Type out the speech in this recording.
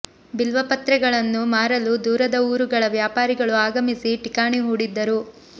ಬಿಲ್ವ ಪತ್ರೆಗಳನ್ನು ಮಾರಲು ದೂರದ ಊರುಗಳ ವ್ಯಾಪಾರಿಗಳು ಆಗಮಿಸಿ ಠಿಕಾಣಿ ಹೂಡಿದ್ದರು